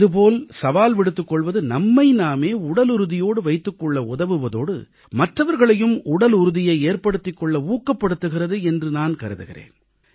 இதுபோல சவால் விடுத்துக் கொள்வது நம்மை நாமே உடலுறுதியோடு வைத்துக் கொள்ள உதவுவதோடு மற்றவர்களையும் உடலுறுதியை ஏற்படுத்துக் கொள்ள ஊக்கப்படுத்துகிறது என்று நான் கருதுகிறேன்